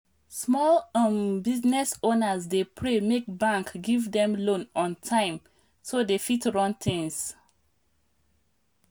small um business owners dey pray make bank give them loan on time so dem fit run things.